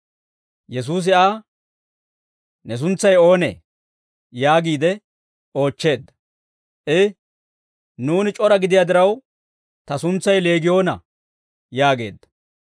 Yesuusi Aa, «Ne suntsay oonee?» yaagiide oochcheedda. I, «Nuuni c'ora gidiyaa diraw, ta suntsay Leegiyoona» yaageedda.